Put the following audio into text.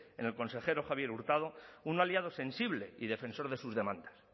en el consejero javier hurtado un aliado sensible y defensor de sus demandas